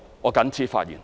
我謹此發言。